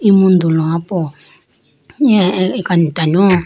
emundu lowa po iniya akantanu .